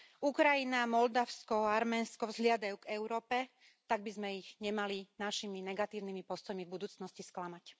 Ukrajina, Moldavsko, Arménsko vzhliadajú k Európe, tak by sme ich nemali našimi negatívnymi postojmi v budúcnosti sklamať.